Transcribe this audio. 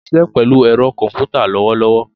O siṣẹ pelu ero komputa lowolowo